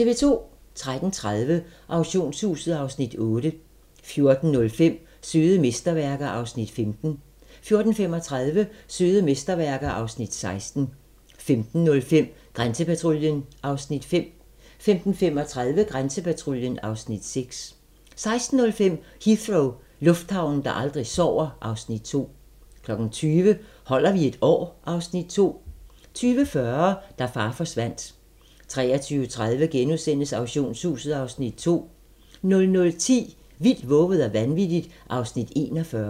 13:30: Auktionshuset (Afs. 8) 14:05: Søde mesterværker (Afs. 15) 14:35: Søde mesterværker (Afs. 16) 15:05: Grænsepatruljen (Afs. 5) 15:35: Grænsepatruljen (Afs. 6) 16:05: Heathrow - lufthavnen, der aldrig sover (Afs. 2) 20:00: Holder vi et år? (Afs. 2) 20:40: Da far forsvandt 23:30: Auktionshuset (Afs. 2)* 00:10: Vildt, vovet og vanvittigt (Afs. 41)